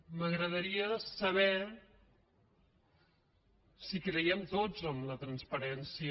m’agradaria saber si hi creiem tots en la transparència